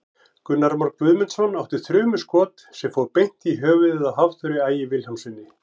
Gunnar Már Guðmundsson átti þrumuskot sem fór beint í höfuðið á Hafþóri Ægi Vilhjálmssyni.